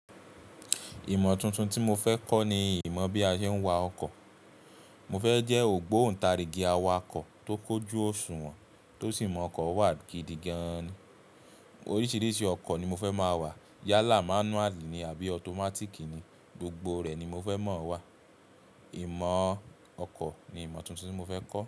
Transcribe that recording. Ìmọ̀ tuntun tí mo fẹ́ kọ́ ni ìmọ̀ bí a ṣe ń wa ọkọ̀. Mo fẹ́ jẹ́ ògbóntarìgì awakọ̀ tó kójú òṣùwọ̀n tó sì mọ ọkọ̀ wá gidi gan ni. Oríṣiríṣi ọkọ̀ ni mo fẹ́ máa wà. Yálà, manuali ni àbí ọtọmátíìkì ni, gbogbo rẹ̀ ni mo fẹ́ mọ̀ wà. Ìmọ̀ ọkọ̀ ni ìmọ̀ tuntun tí mo fẹ́ kọ́.